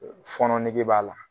Fɔɔnɔ nege b'a la